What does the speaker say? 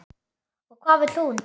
Og hvað vill hún?